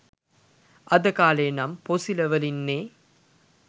අද කාලේ නම් පොසිල වලින්නේ